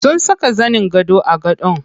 Sun saka zanin gado a gadon.